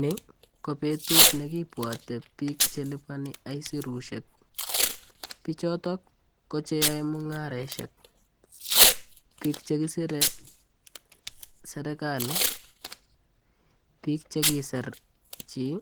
Ni ko betut ne kibwote piik che liponi aisurusiek, pichoto ko che yoe mungareshek, piik che kisire serikali, piik che kisir chii.